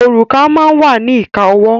Òrùka máa wà ní ìka ọwọ́.